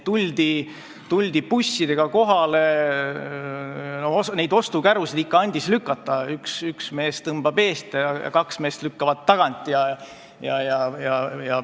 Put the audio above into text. Tuldi bussidega kohale ja neid ostukärusid ikka andis lükata: üks mees tõmbas eest ja kaks meest lükkasid tagant.